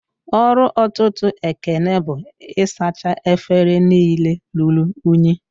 Ọrụ ọtụtụ Ekene bụ isacha efere niile rụrụ unyi